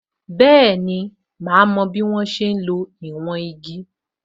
Bẹẹni, ma mo bí wọ́n ṣe ń lo ìwọ̀n igi